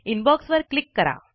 inbox वर click करा